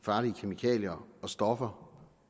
farlige kemikalier og stoffer